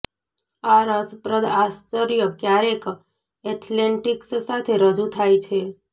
આ રસપ્રદ આશ્ચર્ય ક્યારેક એથ્લેટિક્સ સાથે રજૂ થાય છે